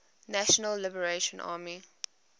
national liberation army